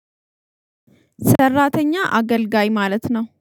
ሰራተኛ አገልጋይ ማለት ነው